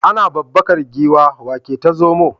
Ana babbakar giwa wa ke ta zomo?